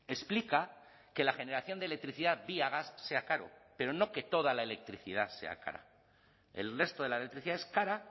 explica que la generación de electricidad vía gas sea caro pero no que toda la electricidad sea cara el resto de la electricidad es cara